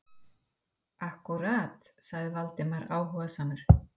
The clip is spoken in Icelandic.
Akkúrat- sagði Valdimar áhugasamur.